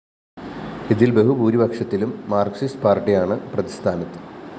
ഇതില്‍ ബഹുഭൂരിപക്ഷത്തിലും മാര്‍കിസ്റ്റ് പാര്‍ട്ടിയാണ് പ്രതിസ്ഥാനത്ത്